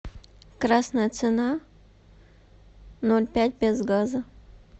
красная цена ноль пять без газа